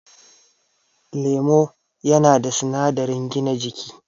Lemo yana da sinadarin gina jiki